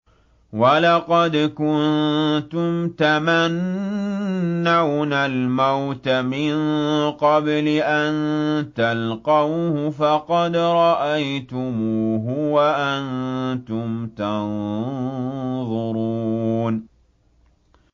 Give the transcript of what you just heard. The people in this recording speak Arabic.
وَلَقَدْ كُنتُمْ تَمَنَّوْنَ الْمَوْتَ مِن قَبْلِ أَن تَلْقَوْهُ فَقَدْ رَأَيْتُمُوهُ وَأَنتُمْ تَنظُرُونَ